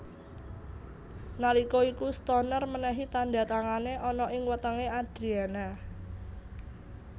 Nalika iku Stoner menehi tanda tangane ana ing wetenge Adriana